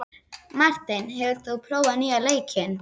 Marteinn, hefur þú prófað nýja leikinn?